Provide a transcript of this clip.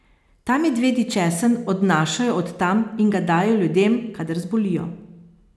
Ta medvedji česen odnašajo od tam in ga dajejo ljudem, kadar zbolijo.